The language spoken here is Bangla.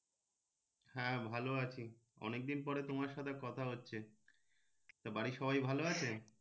হ্যাঁ ভালো আছি অনেক দিন পর তোমার সাথে কথা হচ্ছে তা বাড়ির সবাই ভালো আছে?